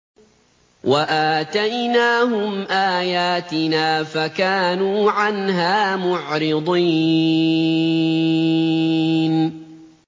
وَآتَيْنَاهُمْ آيَاتِنَا فَكَانُوا عَنْهَا مُعْرِضِينَ